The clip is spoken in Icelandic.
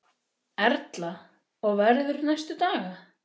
Erla: Og verður næstu daga?